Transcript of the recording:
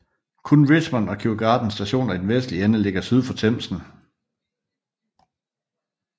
Kun Richmond og Kew Gardens Stationer i den vestlige ende ligger syd for Themsen